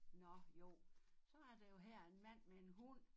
Nå jo så er der jo her en mand med en hund